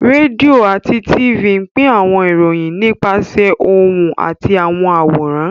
Rédíò àti Tifì pín àwọn ìròyìn nípasẹ̀ ohùn àti àwọn àwòrán